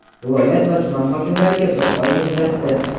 viloyat va tuman hokimlariga bir oy muddatda:.